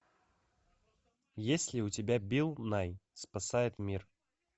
есть ли у тебя билл най спасает мир